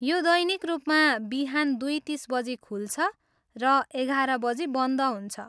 यो दैनिक रूपम बिहान दुई तिस बजी खुल्छ र एघार बजी बन्द हुन्छ।